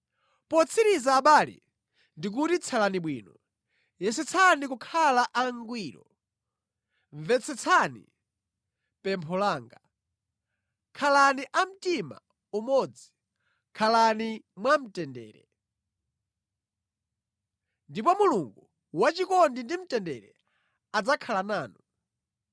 Potsiriza abale, ndikuti tsalani bwino. Yesetsani kukhala angwiro, mvetsetsani pempho langa, khalani a mtima umodzi, khalani mwamtendere. Ndipo Mulungu wachikondi ndi mtendere adzakhala nanu.